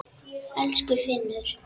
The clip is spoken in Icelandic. Elsku Finnur.